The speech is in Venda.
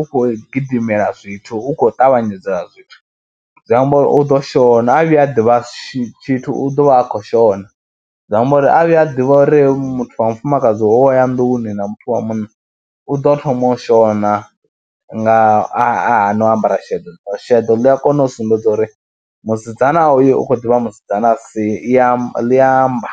u khou gidimela zwithu u khou ṱavhanyedza zwithu, zwi amba uri u ḓo shona a vhuya a ḓivha tshithu u ḓo vha a khou shona, zwi amba uri a vhuya a ḓivha uri muthu wa mufumakadzi u aya nnḓuni na muthu wa munna u ḓo thoma shona nga, a hana u ambara sheḓo, sheḓo ḽi a kona u sumbedza uri musidzana uyo u khou ḓi vha musidzana si, ḽi ya amba.